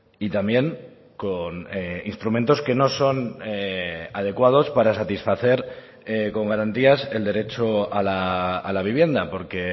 y también con instrumentos que no son adecuados para satisfacer con garantías el derecho a la vivienda porque